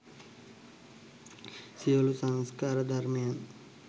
සියලු සංස්කාර ධර්මයන්